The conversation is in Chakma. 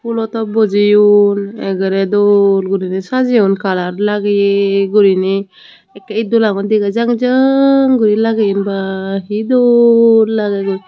fullo top bojeyon ekkerey dol guriney sajeyon colour lagaye guriney ekkoray it dolagun degajang jang guri lageyon ba hi dol lagey goi.